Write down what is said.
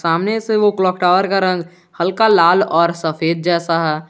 सामने से वो क्लाक टावर का रंग हल्का लाल और सफेद जैसा है।